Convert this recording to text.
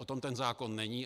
O tom ten zákon není.